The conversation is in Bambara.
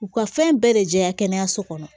U ka fɛn bɛɛ de jɛya kɛnɛyaso kɔnɔ